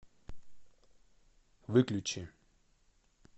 выключи